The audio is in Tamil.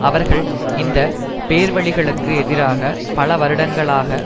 அவர்கள் இந்த பேர்வழிகளுக்கு எதிராக பல வருடஙகளாக